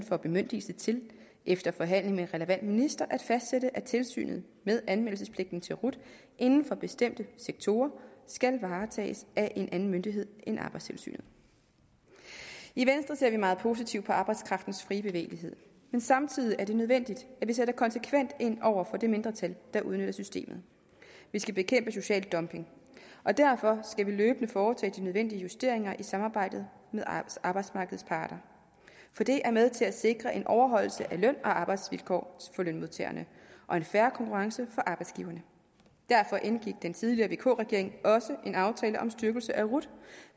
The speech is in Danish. får bemyndigelse til efter forhandling med den relevante minister at fastsætte at tilsynet med anmeldelsespligten til rut inden for bestemte sektorer skal varetages af en anden myndighed end arbejdstilsynet i venstre ser vi meget positivt på arbejdskraftens frie bevægelighed men samtidig er det nødvendigt at vi sætter konsekvent ind over for det mindretal der udnytter systemet vi skal bekæmpe social dumping og derfor skal vi løbende foretage de nødvendige justeringer i samarbejde med arbejdsmarkedets parter for det er med til at sikre en overholdelse af løn og arbejdsvilkår for lønmodtagerne og en fair konkurrence for arbejdsgiverne derfor indgik den tidligere vk regering også en aftale om styrkelse af rut